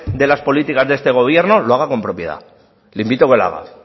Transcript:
de las políticas de este gobierno lo hagan con propiedad le invito a que lo haga